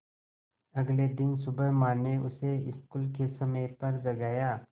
अगले दिन सुबह माँ ने उसे स्कूल के समय पर जगाया